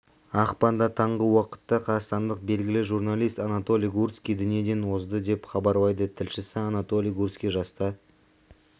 ақпанда таңғы уақытта қазақстандық белгілі журналист анатолий гурский дүниеден озды деп хабарлайды тілшісі анатолий гурский жаста